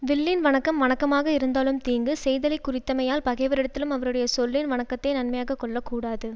வில்லின் வணக்கம் வணக்கமாக இருந்தாலும் தீங்கு செய்தலைக்குறித்தமையால் பகைவரிடத்திலும் அவருடைய சொல்லின் வணக்கத்தை நன்மையாகக் கொள்ள கூடாது